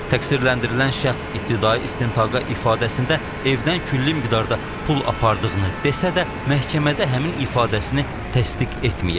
Təqsirləndirilən şəxs ibtidai istintaqa ifadəsində evdən külli miqdarda pul apardığını desə də, məhkəmədə həmin ifadəsini təsdiq etməyib.